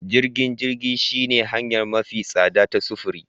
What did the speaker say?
Jirgin jirgi shine hanya mafi tsada ta sufuri